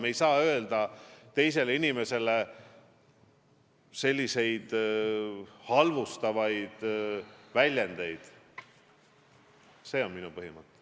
Me ei saa kasutada teise inimese kohta selliseid halvustavaid väljendeid, see on minu põhimõte.